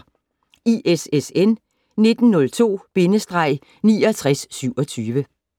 ISSN 1902-6927